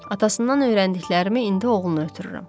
Atasından öyrəndiklərimi indi oğlunu ötürürəm.